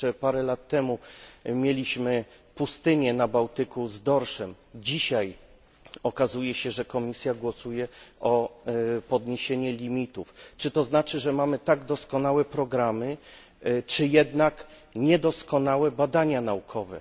Jeszcze parę lat temu mieliśmy na Bałtyku pustynię z dorszem, dzisiaj okazuje się, że Komisja głosuje za podniesieniem limitów. Czy to znaczy, że mamy tak doskonałe programy, czy jednak niedoskonałe badania naukowe?